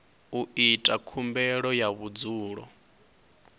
u ita khumbelo ya vhudzulo